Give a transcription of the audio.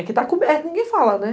e que tá coberto, ninguém fala, né?